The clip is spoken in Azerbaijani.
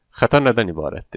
Xəta nədən ibarətdir?